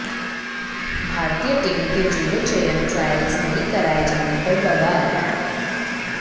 भारतीय टीम के जूडो चयन ट्रायल्स नहीं कराए जाने पर बवाल